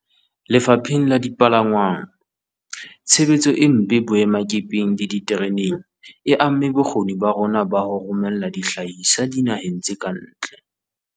Lefapheng la dipalangwang, tshebetso e mpe boemakepeng le ditereneng e amme bokgoni ba rona ba ho romella dihlahiswa dinaheng tse ka ntle.